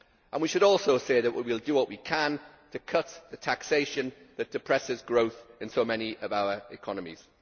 We should also say that we will do what we can to cut the taxation which depresses growth in so many of our economies.